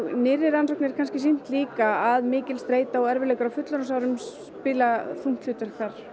nýrri rannsóknir sýna líka að mikil streita og erfiðleikar á fullorðinsárum spila þungt hlutverk